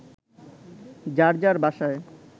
যার যার বাসায়